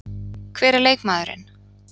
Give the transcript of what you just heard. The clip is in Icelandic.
Hver er leikmaðurinn?